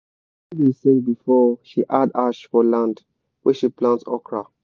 my padi da sing before she add ash for land wey she plant okra